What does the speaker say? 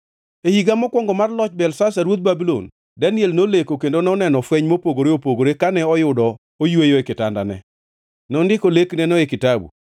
E higa mokwongo mar loch Belshazar ruoth Babulon, Daniel noleko kendo noneno fweny mopogore opogore kane oyudo oyweyo e kitandane. Nondiko lekneno e kitabu.